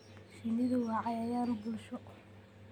Shinnidu waa cayayaan bulsho.